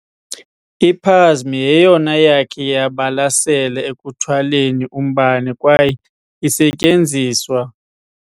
I-Plasma yeyona yakhe yabalasela ekuthwaleni umbane kwaye isetyenziswa